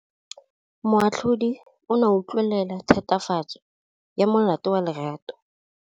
Moatlhodi o ne a utlwelela tatofatsô ya molato wa Lerato.